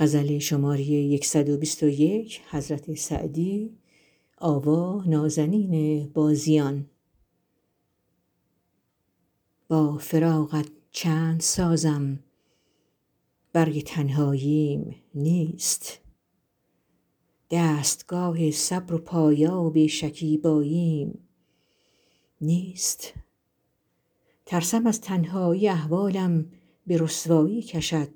با فراقت چند سازم برگ تنهاییم نیست دستگاه صبر و پایاب شکیباییم نیست ترسم از تنهایی احوالم به رسوایی کشد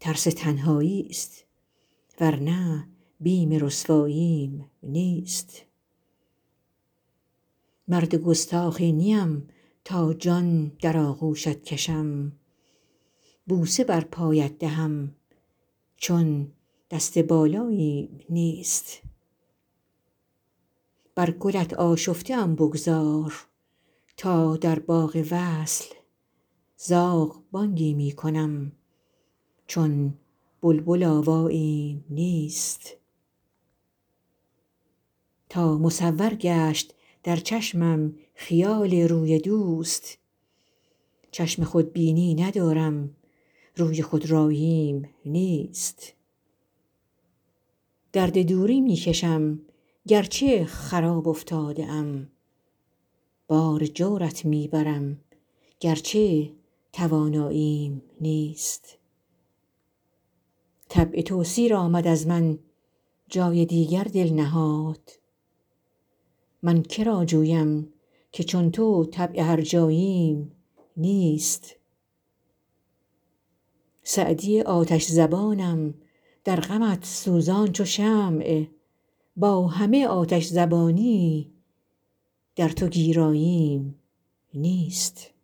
ترس تنهایی ست ور نه بیم رسواییم نیست مرد گستاخی نیم تا جان در آغوشت کشم بوسه بر پایت دهم چون دست بالاییم نیست بر گلت آشفته ام بگذار تا در باغ وصل زاغ بانگی می کنم چون بلبل آواییم نیست تا مصور گشت در چشمم خیال روی دوست چشم خودبینی ندارم روی خودراییم نیست درد دوری می کشم گر چه خراب افتاده ام بار جورت می برم گر چه تواناییم نیست طبع تو سیر آمد از من جای دیگر دل نهاد من که را جویم که چون تو طبع هرجاییم نیست سعدی آتش زبانم در غمت سوزان چو شمع با همه آتش زبانی در تو گیراییم نیست